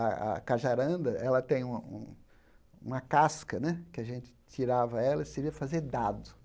A a cajaranda, ela tem um um uma casca, né, que a gente tirava ela e seria fazer dado.